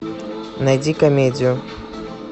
найди комедию